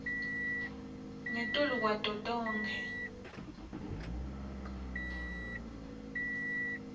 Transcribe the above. ngetulu kwato tonkhe